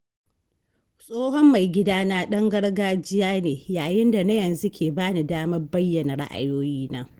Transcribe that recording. Tsohon mai gidana ɗan gargajiya ne, yayin da na yanzu ke ba ni damar bayyana ra’ayoyina.